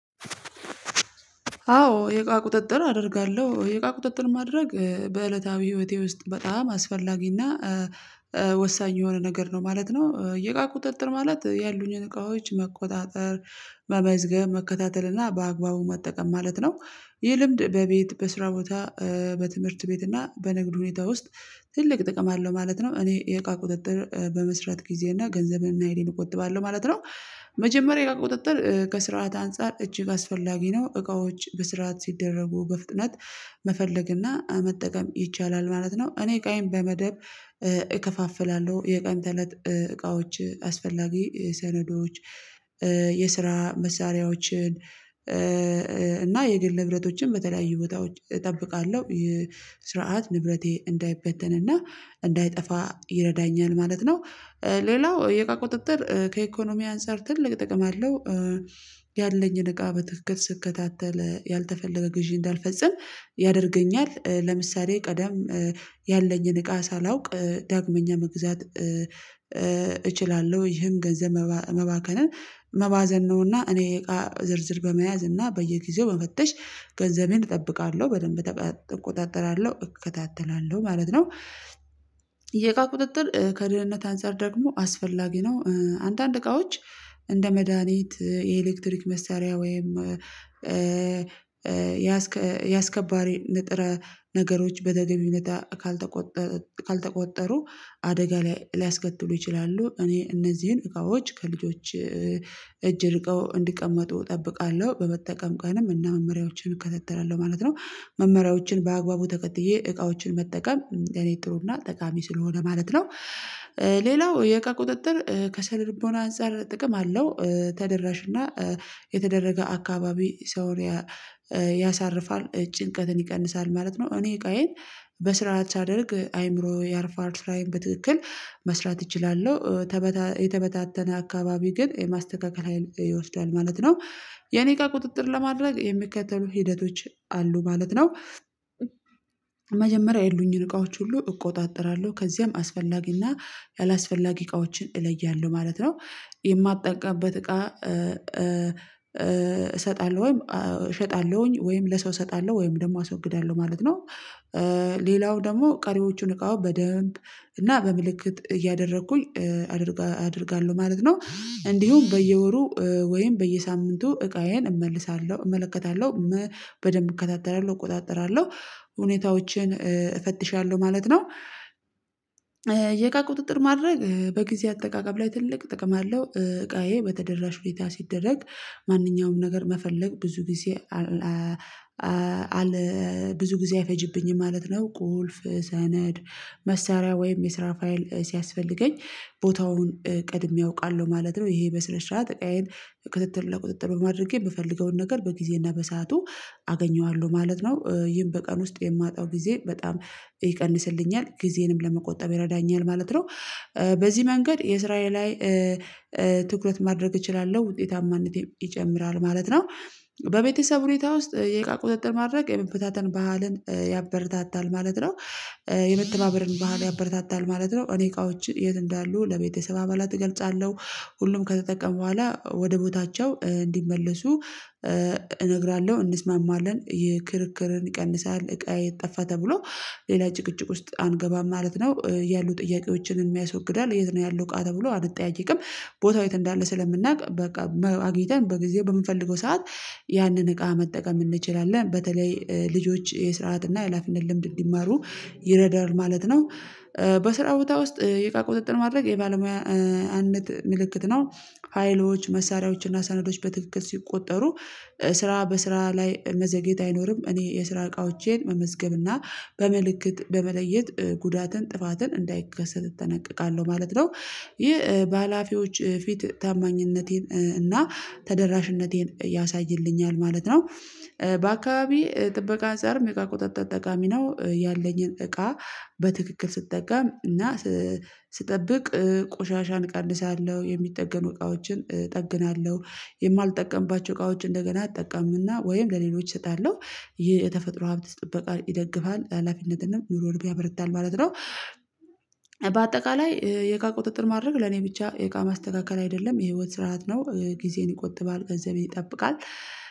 አዎ የቃ ቁጥጥር አደርጋለሁ የቃ ቁጥጥር ማድረግ በእለታዊ ህይወቴ ውስጥ በጣም አስፈላጊና ወሳኝ የሆነ ነገር ነው ማለት ነው። የቃ ቁጥጥር ማለት ያሉኝን እቃዎች መቆጣጠር መመዝገብ መከታተል እና በአግባቡ መጠቀም ማለት ነው። ይህ ልምድ በቤት በስራ ቦታ በትምህርት ቤት እና በንግድ ሁኔታ ውስጥ ትልቅ ጥቅም አለው ማለት ነው። እኔ የቃ ቁጥጥር በመስራት ጊዜ እና ገንዘቤን እናሃይሌን እንቆጥባለን ማለት ነው። መጀመሪያ ቁጥጥር ከስርዓት አንፃር እጅግ አስፈላጊ ነው እቃዎች በስርዓት ሲደረጉ በፍጥነት መፈለግና መጠቀም ይቻላል ማለት ነው። እኔ እቃዬን በመደብ እከፋፍላለሁ የቀን ተለት እቃዎች አስፈላጊ ሰነዶች የስራ መሳሪያዎችን አሃ አሃ እና የግል ንብረቶችን በተለያዩ ቦታዎች እጠብቃለሁ የስርዓት ንብረቴ እንዳይበተንና እንዳይጠፋ ይረዳኛል ማለት ነው። ሌላው የእቃ ቁጥጥር ከኢኮኖሚ አንፃር ትልቅ ጥቅም አለው። ያለኝን እቃ በትክክል ስከታተል ያልተፈለገ ግዢ እንዳልፈጽም ያደርገኛል ለምሳሌ ቀዳም ያለኝን እቃ ሳላውቅ ዳግመኛ መግዛት እችላለሁ ይህም ገንዘብ መባከንን መባዘን ነውና። እኔ የቃ ዝርዝር በመያዝ እና በየጊዜው መፈተሽ ገንዘቤን እጠብቃለሁ በደንብ እጠብቃለሁ እቆጣጠራለሁ እከታተላለሁ ማለት ነው። የእቃ ቁጥጥር ከልህነት አንፃር ደግሞ አስፈላጊ ነው። አንዳንድ እቃዎች እንደ መዲሃኒት የኤሌክትሪክ መሳሪያ ወይም የአስከባር ንጥረ ነገሮች በደግሞ ይነታ ካልተቆጠሩ አደጋ ላይ ሊያስከትሉ ይችላሉ እኔ እነዚህን እቃዎች ከልጆች እጅ ርቀው እንዲቀመጡ እጠብቃለሁ በመጠቀም ቀንም እና መመሪያዎችን እከታተላለሁ ማለት ነው። መመሪያዎችን በአግባቡ ተከትዬ እቃዎችን መጠቀም ለኔ ጥሩና ተቃሚ ስለሆነ ማለት ነው። ሌላው የእቃ ቁጥጥር ከሰነልቦና አንፃር ጥቅም አለው ተደራሽና የተደረገ አካባቢ ሰውን ያሳርፋል ጭንቀትን ይቀንሳል ማለት ነው። እኔ እቃዬን በስራ ሳደርግ አይምሮ ያርፋል ስራዬን በትክክል መስራት እችላለሁ። የተበታተነ አካባቢ ግን የማስተካከል ሀይል ይወስዳል ማለት ነው። የኔ እቃ ቁጥጥር ለማድረግ የሚከተሉ ሂደቶች አሉ ማለት ነው። መጀመሪያ የሉኝን እቃዎች ሁሉ እቆጣጠራለሁ ከዚያም አስፈላጊና ያላስፈላጊ እቃዎችን እለያለሁ ማለት ነው። የማልጠቃበት እቃ እሰጣለሁ ወይም እሸጣለሁኝ ወይም ለሰው እሰጣለሁ ወይም ደግሞ አስወግዳለሁ ማለት ነው። ሌላው ደግሞ ቀሪዎቹን እቃው በደንብ እና በምልክት እያደረኩኝ አደርጋለሁ ማለት ነው። እንዲሁም በየወሩ ወይም በየሳምንቱ እቃዬን እመልሳለሁ እመለከታለሁ በደንብ እከታተላለሁ እቆጣጠራለሁ ሁኔታዎችን እፈትሻለሁ ማለት ነው። የእቃ ቁጥጥር ማድረግ በጊዜ አጠቃቀም ላይ ትልቅ ጥቅም አለው እቃዬ በተደራሽ ሁኔታ ሲደረግ ማንኛውም ነገር መፈለግ ብዙ ጊዜ ብዙ ጊዜ አይፈጅብኝም ማለት ነው። ቁልፍ ሰነድ መሳሪያ ወይም የስራ ፋይል ሲያስፈልገኝ ቦታውን ቀድሜ አውቃለሁ ማለት ነው። ይሄ በስነስርዓት እቃዬን ክትትል ለቁጥጥር በማድረጌ ምፈለገውን ነገር በጊዜና በሰአቱ አገኘዋለሁ ማለት ነው። ይህን በቀን ውስጥ የማጣው ጊዜ በጣም ይቀንስልኛል ጊዜንም ለመቆጠብ ይረዳኛል ማለት ነው። በዚህ መንገድ የስራዬ ላይ ትኩረት ማድረግ እችላለሁ ውጤታማነቴ ይጨምራል ማለት ነው። በቤተሰብ ሁኔታ ውስጥ የቃ ቁጥጥር ማድረግ የመፍታተን ባህልን ያበረታታል ማለት ነው። የመተበበርን ባህል ያበረታታል ማለት ነው። እኔ እቃዎች የት እንዳሉ ለቤተሰብ አባላት እገልጻለሁ ሁሉም ከተጠቀመ በኋላ ወደ ቦታቸው እንዲመለሱ እነግራለሁ እንስማማለን ይህ ክርክርን ይቀንሳል እቃዬ የጠፋ ተብሎ ሌላ ጭቅጭቅ ውስጥ አንገባም ማለት ነው። ያሉ ጥያቄዎችን ያስወግዳል የት ነው ያለው እቃ ተብሎ አንጠያይቅም ቦታው የት እንዳለ ስለምናውቅ በቃ አግኝተን በጊዜ በምንፈልገው ሰዓት ያንን እቃ መጠቀም እንችላለን። በተለይ ልጆች የስርዓት እና የሀላፊነት ልምድ እንዲማሩ ይረዳል ማለት ነው። በስራ ቦታ ውስጥ የእቃ ቁጥጥን ማድረግ የባለሙያነት አንድ ምልክት ነው። ሀይሎች መሳሪያዎች እና ሳነዶች በትክክል ሲቆጠሩ ስራ በስራ ላይ መዘግየት አይኖርም። እኔ የስራ እቃዎቼን መመዝገብና በምልክት በመለየት ጉዳትን ጥፋትን እንዳይከሰት እጠነቀቃለሁ ማለት ነው። ይህ በሃላፊዎች ፊት ታማኝነቴን እና ተደራሽነቴን ያሳይልኛል ማለት ነው። በአካባቢ ጥበቃ አንፀርም የእቃ ቁጥጥር ጠቃሚ ነው። ያለኝን እቃ በትክክል ስትጠቀም እና ስጠብቅ ቆሻሻን እቀንሳለሁ የሚጠገን እቃዎችን እጠግናለሁ የማልጠቀምባቸው እቃዎች እንደገና እጠቀምምና ወይም ለሌሎች እሰጣለሁ ይህ የተፈጥሮ ሀብት ጥበቃ ይደግፋል ሀላፊነትንም ዩሮ ወርብ ያበረታል ማለት ነው። በአጠቃላይ የእቃ ቁጥጥር ማድረግ ለኔ ብቻ የእቃ ማስተካከል አይደለም የህይወት ስርዓት ነው። ጊዜን ይቆጥባል ገንዘቤን ይጠብቃል